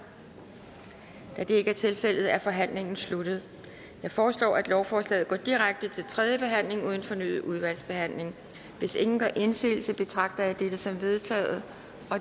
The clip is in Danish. da det ikke er tilfældet er forhandlingen sluttet jeg foreslår at lovforslaget går direkte til tredje behandling uden fornyet udvalgsbehandling hvis ingen gør indsigelse betragter jeg dette som vedtaget